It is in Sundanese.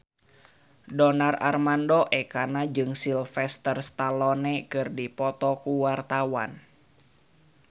Donar Armando Ekana jeung Sylvester Stallone keur dipoto ku wartawan